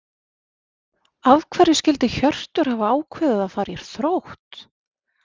Af hverju skyldi Hjörtur hafa ákveðið að fara í Þrótt?